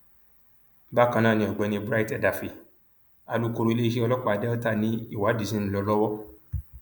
bákan náà ni ọgbẹni bright edafẹ alūkkoro iléeṣẹ ọlọpàá delta ni ìwádìí ṣì ń lọ lọwọ